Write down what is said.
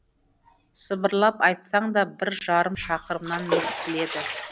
сыбырлап айтсаң да бір жарым шақырымнан естіледі